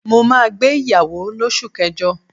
Mo máa gbé ìyàwó l'osu kẹjọ.